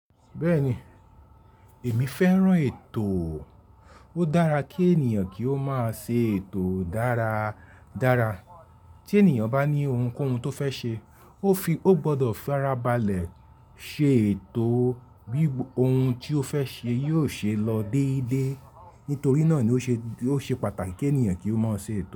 Bẹ́ẹ̀ni, èmi fẹ́ràn ètò. Ó dára kí ènìyàn kí ó máa ṣe ètò dára dára. Tí ènìyàn bá ní oun kó oun tó fẹ́ ṣe, ó fi, ó gbọdọ̀ fara balẹ̀ ṣe ètò bí oun tí ó fẹ́ ṣe yóò ṣe lọ déédéé. Nítorí náà ni ó ṣe, ó ṣe pàtàkì kí ènìyàn kí ó máa ṣe ètò.